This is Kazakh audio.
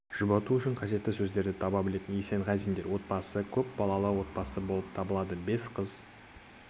жұбату үшін қажетті сөздерді таба біледі есенғазиндер отбасы көп балалы отбасы болып табылады бес қыз